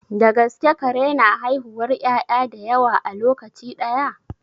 Da gaske kare na haihuwar 'ya'ya da yawa a lokaci ɗaya?